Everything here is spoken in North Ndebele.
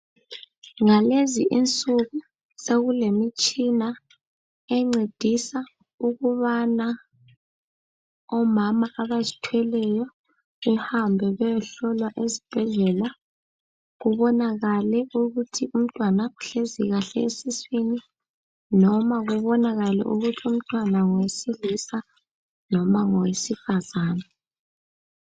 Ngalezi insuku sokulemitshina encedisa ukubana omama abazithweleyo behambe beyohlolwa esibhedlela, kubonakale ukuthi umntwana uhlezi kahle esiswini noma kubonakale ukuthi umntwana ngowesilisa noma ngowesifazana.